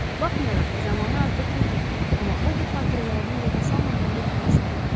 Baxmayaraq ki, zamanı artıq bitirdi, amma o bu xatirələrini yada salmadan getmək istəmirdi.